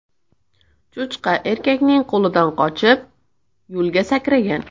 Cho‘chqa erkakning qo‘lidan qochib, yo‘lga sakragan.